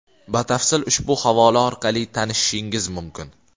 Batafsil ushbu havola orqali tanishishingiz mumkin.